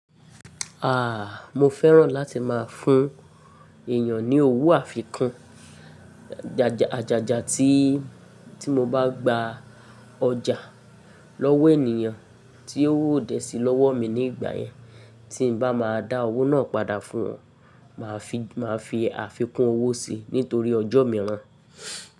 Ah! Mo fẹ́ràn láti máa fún èyàn ní owó àfikún. Ajàjà tí, tí mo bá gba ọjà lọ́wọ́ ènìyàn tí owo o dẹ sí lọ́wọ́ mi ní ìgbà yẹn, tí n bá má a dá owó náà padà fún wọn, mà á fi, mà á fi àfikún owó sí nítorí ọjọ́ mìíràn.